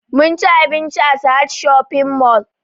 Munci abinci a sahad shopping mall